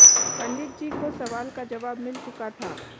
पंडित जी को सवाल का जवाब मिल चुका था